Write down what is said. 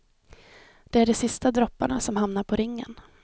Det är de sista dropparna som hamnar på ringen.